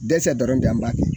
Dɛsɛ dɔrɔn de an b'a kɛ